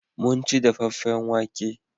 Mun ci dafaffen wake.